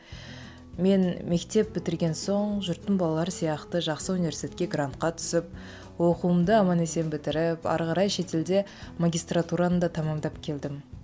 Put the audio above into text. мен мектеп бітірген соң жұрттың балалары сияқты жақсы университетке грантқа түсіп оқуымды аман есен бітіріп ары қарай шетелде магистратураны да тәмамдап келдім